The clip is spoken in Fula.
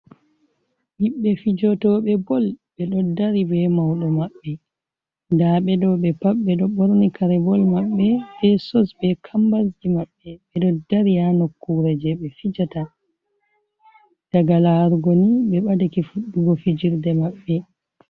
Ɓikkon fijotooɓe bol, ɓe ɗo dari bee mauɗo maɓɓe, ndaa ɓe ɗoo ɓe pat ɓe ɗo borni kare bol maɓɓe bee sos bee kambasji maɓɓe, ɓe do dari haa nokkuuwre jei ɓe fijata, daga laarugo ni, ɓe badake fuɗɗugo fijirde maɓɓe.